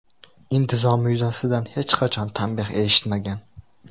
Intizomi yuzasidan hech qachon tanbeh eshitmagan.